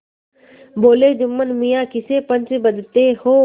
बोलेजुम्मन मियाँ किसे पंच बदते हो